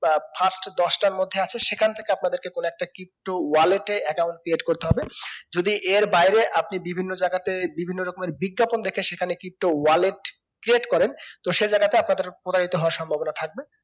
বা frist দশটার মধ্যে আসে সেখান থেকে আপনাদেরকে কোনো একটা pto wallet এ account create করতে হবে যদি এর বাইরে আপনি বিভিন্ন জায়গাতে বিভিন্ন রকমের বিজ্ঞাপন দেখে সেখানে pto wallet create করেন তো সেই জায়গাতে আপনাদের প্রতারিত হবার সম্ভবনা থাকবে